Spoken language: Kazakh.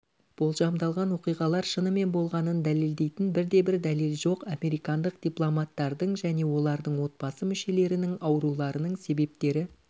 болжамдалған оқиғалар шынымен болғанын дәлелдейтін бірде-бір дәлел жоқ американдық дипломаттардың және олардың отбасы мүшелерінің ауруларының себептері